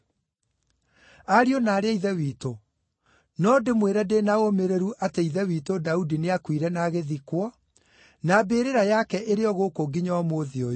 “Ariũ na aarĩ a Ithe witũ, no ndĩmwĩre ndĩ na ũũmĩrĩru atĩ ithe witũ Daudi nĩakuire na agĩthikwo, na mbĩrĩra yake ĩrĩ o gũkũ nginya ũmũthĩ ũyũ.